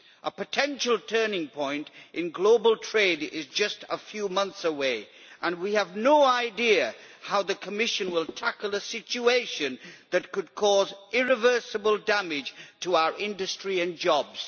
A potential turning point in global trade is just a few months away and we have no idea how the Commission will tackle a situation that could cause irreversible damage to our industry and jobs.